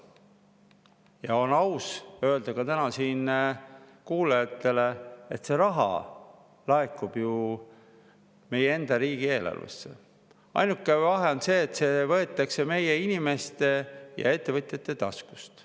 Ja on aus öelda täna siin kuulajatele, et see raha laekub ju meie enda riigieelarvesse, ainult et see võetakse meie inimeste ja ettevõtjate taskust.